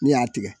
Ne y'a tigɛ